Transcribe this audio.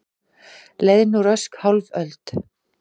Leið nú rösk hálf öld.